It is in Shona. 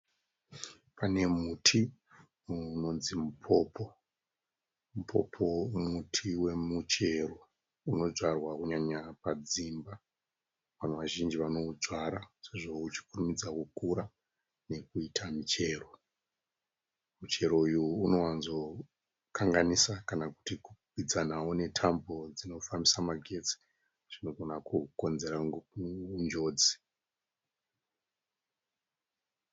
Pane muti unonzi mupopo. Mupopo muti wemuchero unodzwara kunyanya padzimba. Vanhu vazhinji vanoudzwara sezvo uchikurumidza kukura nekuita michero. Muchero uyu unowanzokanganisa kana kuti kukwikwidzanawo netambo dzinofambisa magetsi. Zvinogona kukonzera njodzi.